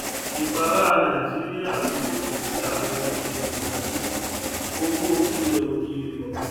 ìpalára nàìjíríà ń gòkè sí àwọn èrè pẹlú owó ilẹ òkèèrè